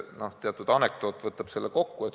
Teatud anekdoot võtab selle kokku.